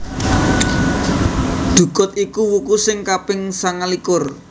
Dhukut iku wuku sing kaping sangalikur